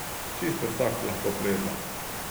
Čisto vsak lahko pleza.